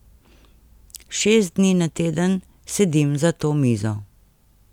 Šest dni na teden sedim za to mizo.